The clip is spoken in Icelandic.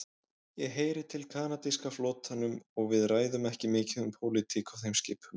Ég heyri til kanadíska flotanum og við ræðum ekki mikið um pólitík á þeim skipum.